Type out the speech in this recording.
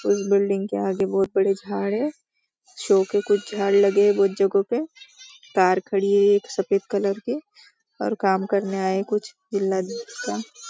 कोई बिल्डिंग के आगे बहुत बड़े झाड हैं शो के कुछ झाड लगे हैं कुछ जगहों पे कार खड़ी है एक सफेद कलर की और काम करने आए कुछ --